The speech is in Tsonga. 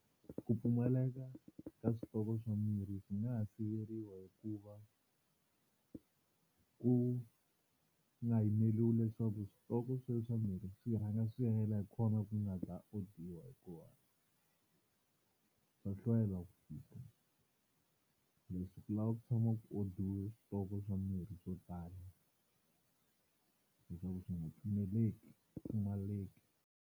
Ku pfumaleka ka switoko swa mirhi swi nga siveriwa hi ku va ku nga yimeriwi leswaku switoko sweswo swa mirhi swi rhanga swi hela hi kona ku nga ta odiwa, hikuva swa hlwela ku fika se swi lava ku tshama ku odiwe switoko swa mirhi swo tala leswaku swi nga pfumeleki pfumaleki.